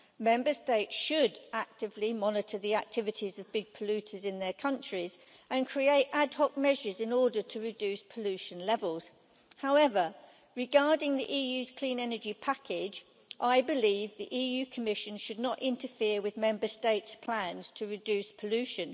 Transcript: Member States should actively monitor the activities of big polluters in their countries and take ad hoc measures to reduce pollution levels. However, regarding the EU's clean energy package, I believe the Commission should not interfere with Member States' plans to reduce pollution.